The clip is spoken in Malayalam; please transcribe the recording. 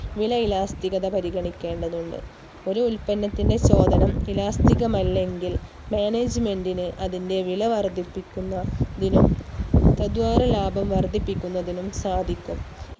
വില Elastic ഗഥ പരിഗണിക്കേണ്ടതുണ്ട് ഒരു ഉൽപ്പന്നത്തിന്റെ ചോദനം Elastic കമല്ലെങ്കിൽ management ന് അതിന്റെ വില വർധിപ്പിക്കുന്ന തിനും തത്വര ലാഭം വർധിപ്പിക്കുന്നതിനും സാധിക്കും